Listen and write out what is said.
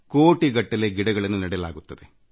ಕೋಟಿಗಟ್ಟಲೆ ಸಸಿಗಳನ್ನು ನೆಡಲಾಗುತ್ತದೆ